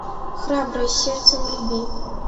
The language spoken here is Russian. храброе сердце вруби